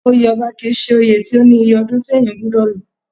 Oyè ọba kì í ṣe oyè tí ó ní iye ọdún tí èèyàn gbọdọ̀ lò